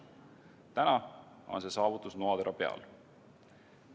Täna on see saavutus noatera peal.